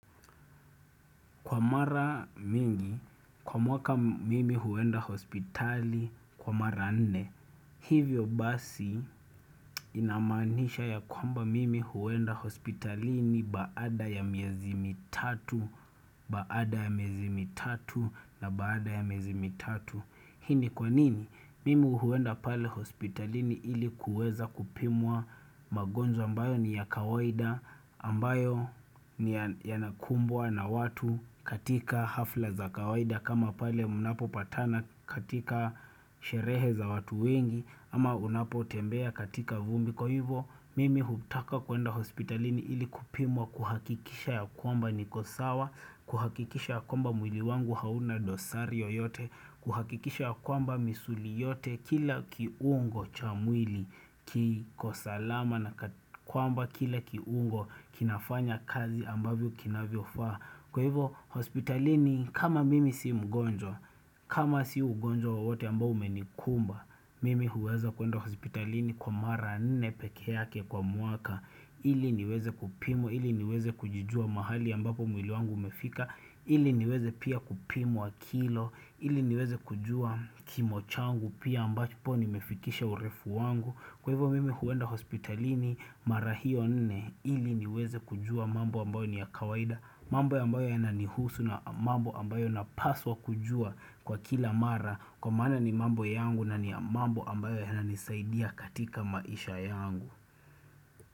Kwa mara mingi, kwa mwaka mimi huenda hospitali, kwa mara nne, hivyo basi inamaanisha ya kwamba mimi huenda hospitalini baada ya miezi mitatu, baada ya miezi mitatu na baada ya miezi mitatu. Hii ni kwa nini, mimi huenda pale hospitalini ili kuweza kupimwa magonjwa ambayo ni ya kawaida ambayo ni yanakumbwa na watu katika hafla za kawaida kama pale unapopatana katika sherehe za watu wengi ama unapotembea katika vumbi. Kwa hivyo, mimi hutaka kuenda hospitalini ili kupimwa kuhakikisha ya kwamba niko sawa, kuhakikisha ya kwamba mwili wangu hauna dosari yoyote, kuhakikisha ya kwamba misuli yote, kila kiungo cha mwili, kiko salama na kwamba kila kiungo kinafanya kazi ambavyo kinavyofaa. Kwa hivo hospitalini kama mimi si mgonjwa, kama si ugonjwa wote ambao umenikumba Mimi huweza kuenda hospitalini kwa mara nne peke yake kwa mwaka ili niweze kupimwa, ili niweze kujijua mahali ambapo mwili wangu umefika ili niweze pia kupimwa kilo, ili niweze kujua kimo changu pia ambacho po nimefikisha urefu wangu Kwa hivo mimi huenda hospitalini mara hio nne, ili niweze kujua mambo ambao ni ya kawaida mambo ya ambayo yananihusu na mambo yanapaswa kujua kwa kila mara Kwa mana ni mambo yangu na ni mambo ambayo yananisaidia katika maisha yangu.